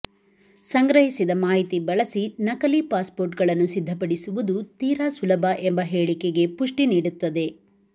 ಸಂಗ್ರಹಿಸಿದ ಮಾಹಿತಿ ಬಳಸಿ ನಕಲೀ ಪಾಸ್ಪೋರ್ಟ್ಗಳನ್ನು ಸಿದ್ದಪಡಿಸುವುದು ತೀರಾ ಸುಲಭ ಎಂಬ ಹೇಳಿಕೆಗೆ ಪುಷ್ಟಿ ನೀಡುತ್ತದೆ